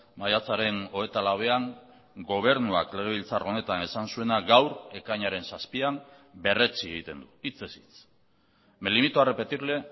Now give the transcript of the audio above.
maiatzaren hogeita lauean gobernuak legebiltzar honetan esan zuena gaur ekainaren zazpian berretsi egiten du hitzez hitz me limito a repetirle